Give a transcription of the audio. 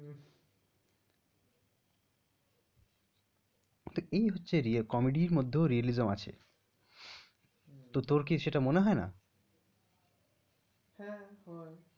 তো এই হচ্ছে গিয়ে comedy র মধ্যেও realism আছে, তো তোর কি সেটা মনে হয় না? হ্যাঁ হয়।